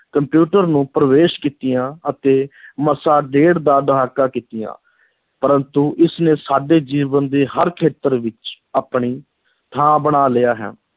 computer ਨੂੰ ਪ੍ਰਵੇਸ਼ ਕੀਤਿਆਂ ਅਤੇ ਮਸਾਂ ਡੇਢ ਦਾ ਦਹਾਕਾ ਕੀਤੀਆਂ, ਪਰੰਤੂ ਇਸ ਨੇ ਸਾਡੇ ਜੀਵਨ ਦੇ ਹਰ ਖੇਤਰ ਵਿੱਚ ਆਪਣੀ ਥਾਂ ਬਣਾ ਲਿਆ ਹੈ,